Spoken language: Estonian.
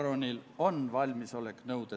Otsus on vastu võetud.